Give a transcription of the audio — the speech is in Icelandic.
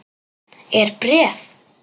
Er bréf?